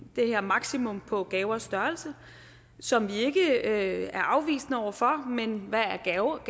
det her maksimum på gavers størrelse som vi ikke er afvisende over for men hvad er gaver er